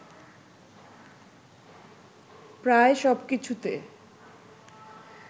প্রায় সব কিছুতে